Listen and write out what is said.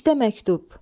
İşdə məktub.